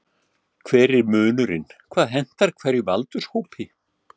Hver er munurinn, hvað hentar hverjum aldurshópi?